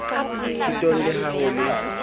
thutong le ha ho le